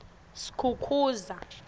skukuza